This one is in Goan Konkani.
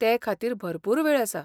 ते खातीर भरपूर वेळ आसा.